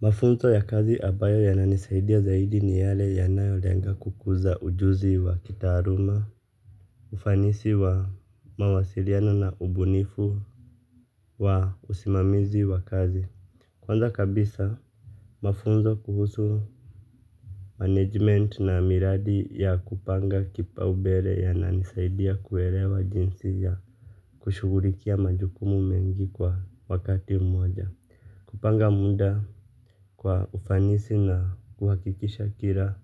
Mafunzo ya kazi ambayo yananisaidia zaidi ni yale yanayolenga kukuza ujuzi wa kitaaluma. Ufanisi wa mawasiliano na ubunifu wa usimamizi wa kazi. Kwanza kabisa, mafunzo kuhusu Management na miradi ya kupanga kipa ubele ya nanisaidia kuwelewa jinsi ya kushugulikia majukumu mengi kwa wakati mmoja kupanga muda. Kwa ufanisi na kuhakikisha kila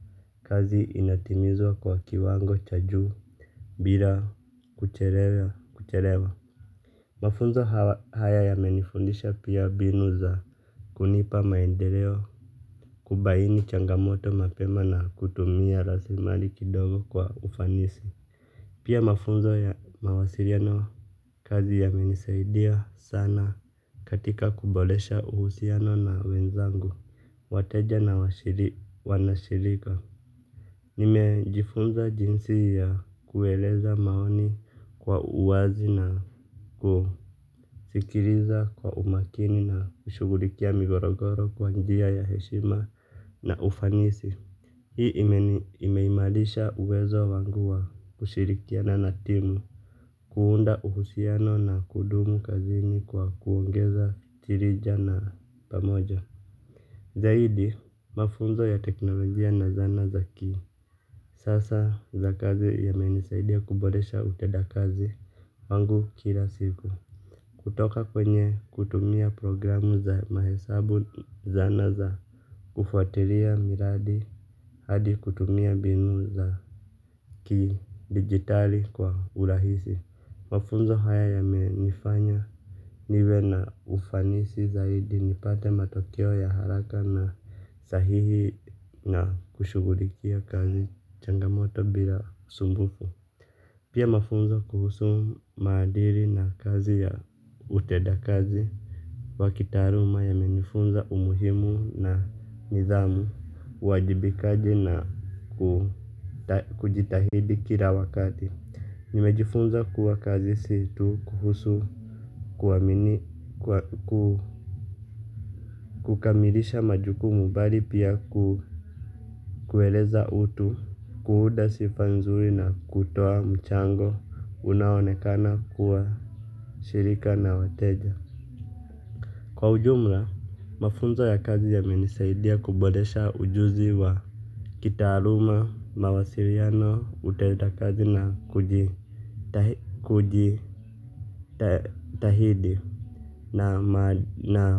kazi inatimizwa kwa kiwango cha juu bila kuchelewa. Mafunzo haya yamenifundisha pia mbinu za kunipa maendeleo kubaini changamoto mapema na kutumia raslimali kidogo kwa ufanisi. Pia mafunzo ya mawasiliano kazi ya menisaidia sana katika kuboresha uhusiano na wenzangu, wateja na wanashirika. Nimejifunza jinsi ya kueleza maoni kwa uwazi na kusikiliza kwa umakini na kushugulikia migogoro kwa njia ya heshima na ufanisi. Hii imeimarisha uwezo wangua kushirikiana na timu. Kuunda uhusiano na kudumu kazini kwa kuongeza chirija na pamoja. Zaidi mafunzo ya teknolojia na zana za ki sasa za kazi yamenisaidia kuboresha utenda kazi wangu kila siku. Kutoka kwenye kutumia programu za mahesabu, zana za kufuatilia miradi hadi kutumia mbinu za kidigitali kwa urahisi. Mafunzo haya yamenifanya niwe na ufanisi zaidi nipate matokeo ya haraka na sahihi na kushugulikia kazi changamoto bila usumbufu. Pia mafunzo kuhusu maadili na kazi ya utenda kazi. Wakitaaluma yamenifunza umuhimu na nidhamu, uwajibikaji na kujitahidi kila wakati. Nimejifunza kuwa kazi si tu, kuhusu, kuamini, kukamilisha majukumu bali pia ku kuweleza utu, kuunda sifa nzuri na kutoa mchango, unaonekana kuwashirika na wateja. Kwa ujumla, mafunzo ya kazi yamenisaidia kuboresha ujuzi wa kitaaluma, mawasiliano, utenda kazi na kujitahidi. Na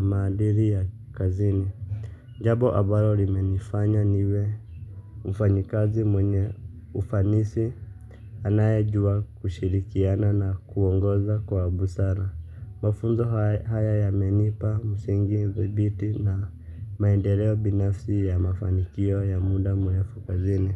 maadili ya kazini. Jambo ambalo limenifanya niwe. Mfanyikazi mwenye ufanisi. Anayejua kushirikiana na kuongoza kwa busara. Mafunzo haya yamenipa, msingi, thibiti na maendeleo binafsi ya mafanikio ya muda mrefu kazini.